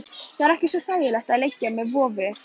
Það er ekkert svo ægilegt að liggja með vofu.